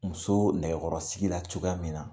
Muso nɛkɛyɔrɔsigira cogoya min na